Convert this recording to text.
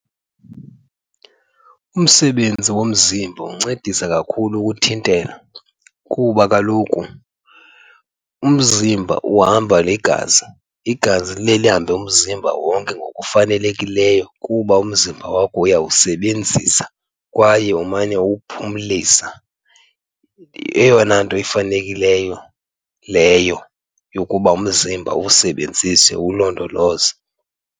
Umsebenzi womzimba uncedisa kakhulu ukuthintela kuba kaloku umzimba uhamba ligazi, igazi liye lihambe umzimba wonke ngokufanelekileyo kuba umzimba wakho uyawusebenzisa kwaye umane uwuphumlisa. Eyona nto ifanekileyo leyo yokuba umzimba uwusebenzise uwulondoloze.